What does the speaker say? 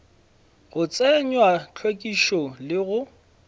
go tsenywa hlwekišo le go